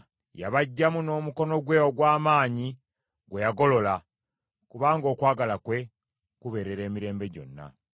Yabaggyamu n’omukono gwe ogw’amaanyi gwe yagolola; kubanga okwagala kwe kubeerera emirembe gyonna.